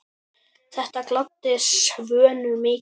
Þetta gladdi Svönu mikið.